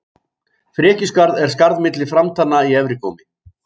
Frekjuskarð er skarð milli framtanna í efra gómi.